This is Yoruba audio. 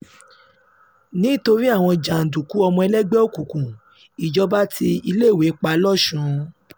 nítorí àwọn jàǹdùkú ọmọ ẹgbẹ́ òkùnkùn ìjọba ti iléèwé pa lọ́sùn